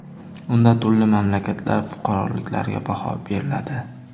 Unda turli mamlakatlar fuqaroliklariga baho beriladi.